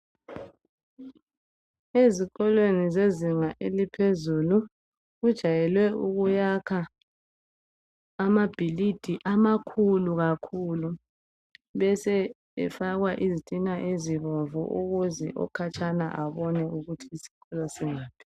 Ezikolweni zezinga eliphezulu kujayelwe ukuyakhwa amabhilidi amakhulu kakhulu besebefaka izitina ezibomvu ukuze okhatshana abone ukuthi isikolo singaphi.